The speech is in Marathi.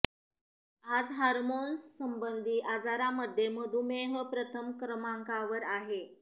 आज हॉर्मोन्स संबंधी आजारांमध्ये मधुमेह प्रथम क्रमांकावर आहे